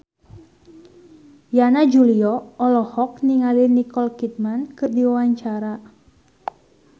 Yana Julio olohok ningali Nicole Kidman keur diwawancara